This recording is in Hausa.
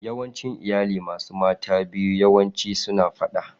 Yawancin iyali masu mata biyu yawanci suna fada.